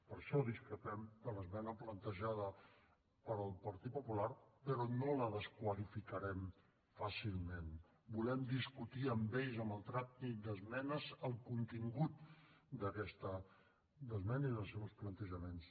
per això discrepem de l’esmena plantejada pel partit popular però no la desqualificarem fàcilment volem discutir amb ells en el tràmit d’esmenes el contingut d’aquesta esmena i dels seus plantejaments